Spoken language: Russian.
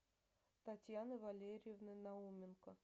татьяны валерьевны науменко